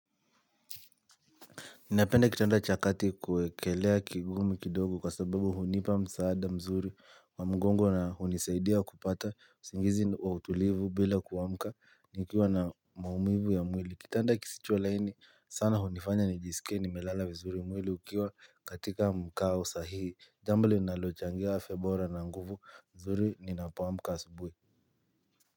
Ninapenda kitanda chakati kuekelea kigumu kidogo kwa sababu hunipa msaada mzuri wa mgongo na hunisaidia kupata usingizi wa utulivu bila kuwamka ni ukiwa na maumivu ya mwili Kitanda kisicho laini sana hunifanya nijisike nimelala vizuri mwili ukiwa katika mkawo sahihi Jambo li nalochangea afyebora na nguvu mzuri ninapawamka asubui.